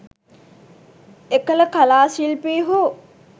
එකල කලා ශිල්පීහු